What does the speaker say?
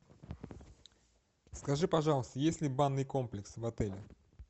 скажи пожалуйста есть ли банный комплекс в отеле